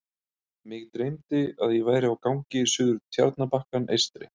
Mig dreymdi, að ég væri á gangi suður Tjarnarbakkann eystri.